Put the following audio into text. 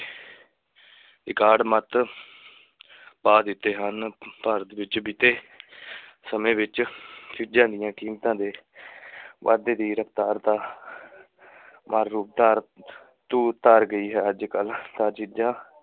ਪਾ ਦਿੱਤੇ ਹਨ ਭਾਰਤ ਵਿੱਚ ਬੀਤੇ ਸਮੇਂ ਵਿੱਚ ਚੀਜ਼ਾਂ ਦੀਆਂ ਕੀਮਤਾਂ ਦੇ ਵਾਧੇ ਦੀ ਰਫ਼ਤਾਰ ਦਾ ਮਾਰ ਰੂਪ ਧਾਰ ਧੂਰ ਧਾਰ ਗਈ ਹੈ ਅੱਜ-ਕਲ੍ਹ ਤਾਂ ਚੀਜ਼ਾਂ